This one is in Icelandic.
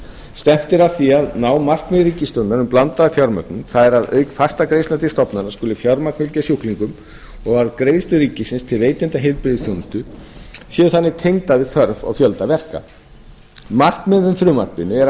stefnt er að því að ná markmiði ríkisstjórnarinnar um blandaða fjármögnun það er að auk fastra greiðslna til stofnana skuli fjármagn fylgja sjúklingum og að greiðslur ríkisins til veitenda heilbrigðisþjónustu séu þannig tengdar við þörf og fjölda verka markmið með frumvarpinu er að